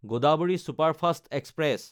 Godavari superfast express